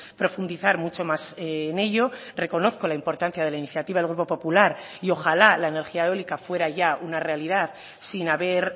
profundizar mucho más en ello reconozco la importancia de la iniciativa del grupo popular y ojala la energía eólica fuera ya una realidad sin haber